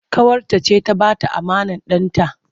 Ƙawarta ce ta ba ta amanar ɗanta.